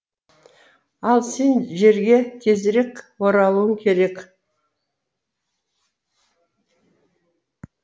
ал сен жерге тезірек оралуың керек